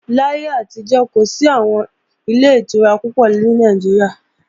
Láyé àtijọ́, kò sí àwọn Ilé-ìtura púpọ̀ ní Nàìjíríà